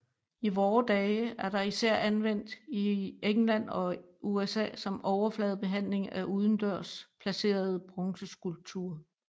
I vore dage er det især anvendt i England og USA som overfladebehandling af udendørs placeret bronzeskulptur